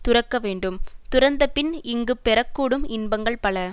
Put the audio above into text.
துறக்க வேண்டும்துறந்த பின் இங்கு பெறக்கூடும் இன்பங்கள் பல